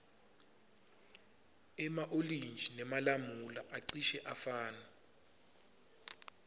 ema olintji nemalamula acishe afane